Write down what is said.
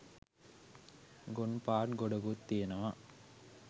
ගොන් පාට් ගොඩකුත් තියෙනවා